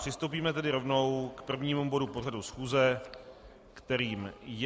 Přistoupíme tedy rovnou k prvnímu bodu pořadu schůze, kterým je